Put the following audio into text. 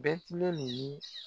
Bɛtilɛli ye